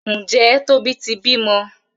Njé Tóbi tí bímọ?